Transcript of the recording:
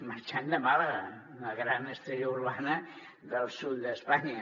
marxant de màlaga la gran estrella urbana del sud d’espanya